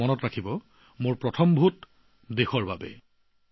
আৰু মনত ৰাখিব মোৰ প্ৰথম ভোটদেশৰ বাবে